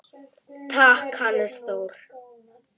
Takk, Hannes Þór.